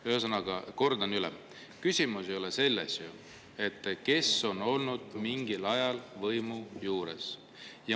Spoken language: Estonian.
Ühesõnaga, kordan üle: küsimus ei ole ju selles, kes on olnud mingil ajal võimu juures.